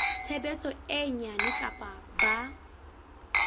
tshebetso e nyane kapa ba